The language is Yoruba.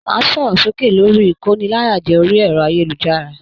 Máa sọ̀rọ̀ sókè lórí ikóníláyàjẹ̀ orí ẹrọ ayélujára!